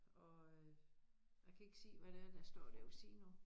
Og øh jeg kan ikke se hvad det er der står dér ved siden af